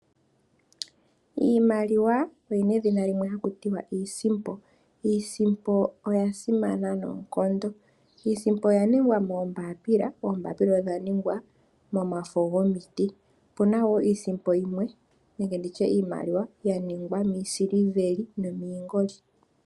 Iimaliwa oyina edhina limwe haku tiwa iisimpo, iisimpo oya simana noonkondo, iisimpo oya ningwa moombaapila, oombaapila odha ningwa momafo gomiti. Opuna wo iisimpo yimwe nenge nditye iimaliwa ya ningwa miisiliveli nomiingoli.